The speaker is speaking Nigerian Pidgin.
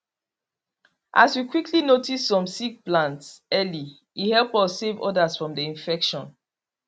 as we quickly notice some sick plants early e help us save others from the infection